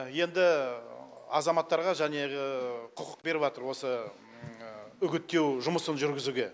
енді азаматтарға және құқық беріватыр осы үгіттеу жұмысын жүргізуге